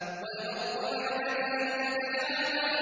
وَالْأَرْضَ بَعْدَ ذَٰلِكَ دَحَاهَا